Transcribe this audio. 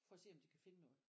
For at se om de kan finde noget